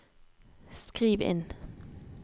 skriv inn